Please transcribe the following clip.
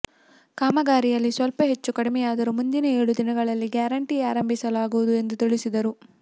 ಕಾಮಗಾರಿಯಲ್ಲಿ ಸ್ವಲ್ಪ ಹೆಚ್ಚು ಕಡಿಮೆಯಾದರೂ ಮುಂದಿನ ಏಳು ದಿನಗಳಲ್ಲಿ ಗ್ಯಾರಂಟಿ ಆರಂಭಿಸಲಾಗುವುದು ಎಂದು ತಿಳಿಸಿದರು